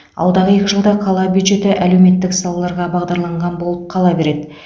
алдағы екі жылда қала бюджеті әлеуметтік салаларға бағдарланған болып қала береді